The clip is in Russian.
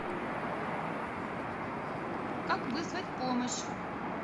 как вызвать помощь